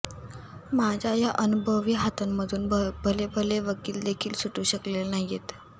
माझ्या या अनुभवी हातांमधून भलेभले वकीलदेखील सुटू शकलेले नाहीयेत